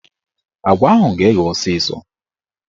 Agwa ahụ ga-eghe ọsịsọ